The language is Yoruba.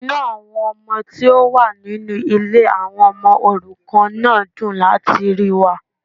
Inú àwọn ọmọ tí ó wà nínú Ilé àwon omo òrukàn náà dùn láti ríi wa